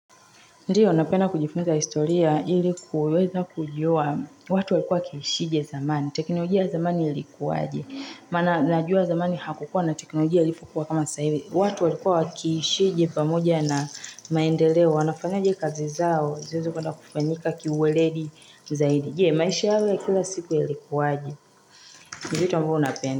Ndiyo, napenda kujifunza historia ilikuweza kujua watu walikua wakiishije zamani, teknolojia zamani ilikuwaje. Mana najua zamani hakukuwa na teknolojia ilivyokuwa kama sasa hivi. Watu walikua wakiishije pamoja na maendeleo, wanafanyaje kazi zao, ziweze kwenda kufanyika kiweledi zaidi. Je, maisha yao ya kila siku yalikuwaje. Ni vitu ambavyo napenda.